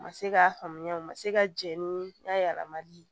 U ma se k'a faamuya u ma se ka jɛn ni a yɛlɛmali ye